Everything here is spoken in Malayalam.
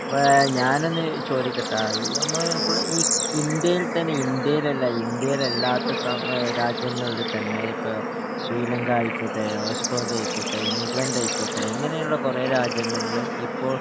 വേ ഞാനൊന്ന് ചോദിക്കട്ടാ ഈ നമ്മള് ഇപ്പള് ഈ ഇന്ത്യയിൽ തന്നെ ഇന്ത്യയിലല്ല ഇന്ത്യയിലല്ലാത്ത സ്ഥ രാജ്യങ്ങളില് തന്നെ ഇപ്പൊ ശ്രീലങ്കായിക്കോട്ടെ ഓസ്‌ട്രേലിയായിക്കോട്ടെ ഇംഗ്ലണ്ടായിക്കോട്ടെ ഇങ്ങനെയുള്ള കൊറേ രാജ്യങ്ങൾല് ഇപ്പൊ